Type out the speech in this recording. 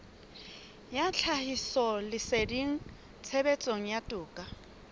ya tlhahisoleseding tshebetsong ya toka